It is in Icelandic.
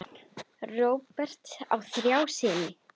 Róbert á þrjá syni.